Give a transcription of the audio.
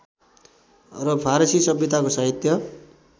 र फारसी सभ्यताको साहित्य